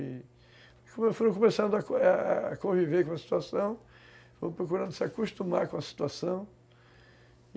E como eu fui começando a a conviver com a situação, fui procurando se acostumar com a situação.